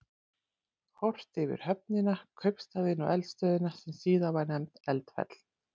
Horft yfir höfnina, kaupstaðinn og eldstöðina sem síðar var nefnd Eldfell.